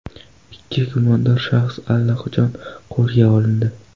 Ikki gumondor shaxs allaqachon qo‘lga olindi.